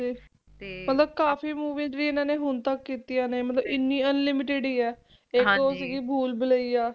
ਮਤਲਬ ਕਾਫੀ Movie ਜੋਂ ਹੁਣ ਤੱਕ ਕੀਤੀਆਂ ਨੇ Unlimited ਹੀ ਏ ਤੇ ਇਕ ਸੀ ਭੁੱਲ ਭੁਲਾਇਆ